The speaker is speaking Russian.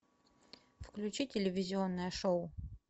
включи телевизионное шоу